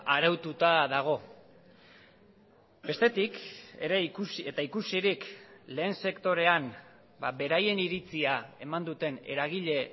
araututa dago bestetik ere eta ikusirik lehen sektorean beraien iritzia eman duten eragile